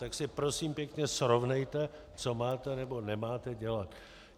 Tak si, prosím pěkně, srovnejte, co máte nebo nemáte dělat.